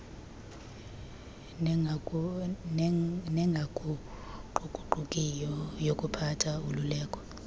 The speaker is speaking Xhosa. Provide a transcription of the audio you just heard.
nengaguquguqukiyo yokuphatha ululeko